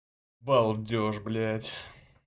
балдеж блядь